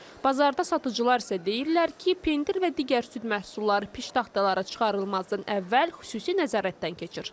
Bazarda satıcılar isə deyirlər ki, pendir və digər süd məhsulları piştaxtalara çıxarılmazdan əvvəl xüsusi nəzarətdən keçir.